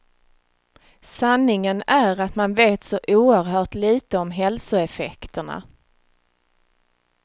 Sanningen är att man vet så oerhört litet om hälsoeffekterna.